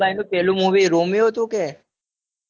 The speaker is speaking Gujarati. યશભાઈનું પેલું movie કયું હતું રોમિયો હતું